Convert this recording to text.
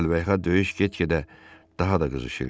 Əlvəyhə, döyüş get-gedə daha da qızışırdı.